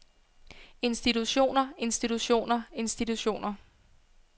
institutioner institutioner institutioner